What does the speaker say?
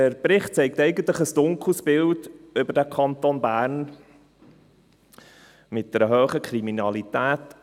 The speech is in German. Der Bericht zeichnet eigentlich ein dunkles Bild des Kantons Bern, mit einer hohen Kriminalität.